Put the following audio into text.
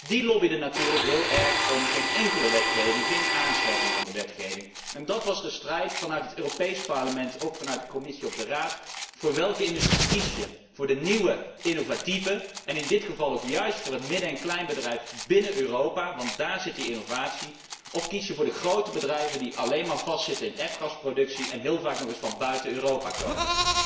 slapen. Die lobbyden natuurlijk heel erg voor geen enkele wetgeving, geen aanscherping van de wetgeving. Dat was de strijd binnen het Europees Parlement, en ook binnen de Commissie of de Raad voor welke industrie kies je. Voor de nieuwe innovatieve en in dit geval ook voor het midden en kleinbedrijf binnen Europa, want dààr zit die innovatie of kies je voor de grote bedrijven die alleen maar vastzitten aan F gasproductie en heel vaak ook nog eens van buiten Europa